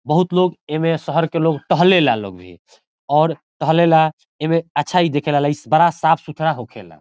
बहुत लोग एमे शहर के लोग टहले ला लोग भी और टहले ला एमे अच्छा हे दिखेला लइस बड़ा साफ़-सुथरा हो खेला।